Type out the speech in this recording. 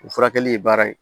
O furakɛli ye baara ye